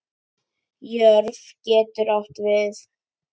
Jörð getur átt við